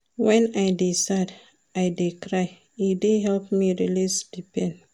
Wen I dey sad, I dey cry, e dey help me release di pain.